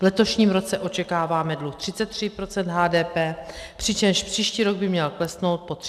V letošním roce očekáváme dluh 33 % HDP, přičemž příští rok by měl klesnout pod 32 % HDP.